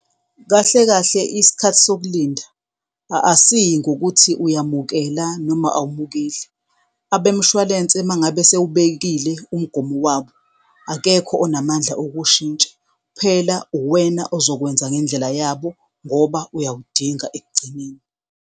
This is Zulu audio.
Kahle kahle Isikhathi sokulinda asiyi ngokuthi uyamukela noma awumukeli. Abemshwalense mangabe sewubekile umgomo wabo, akekho onamandla okuwushintsha. Kuphela uwena ozokwenza ngendlela yabo ngoba uyawudinga ekugcineni.